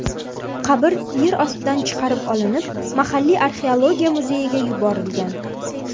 Qabr yer ostidan chiqarib olinib, mahalliy arxeologiya muzeyiga yuborilgan.